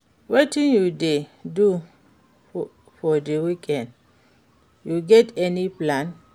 wetin you dey do for di weekend, you get any plan?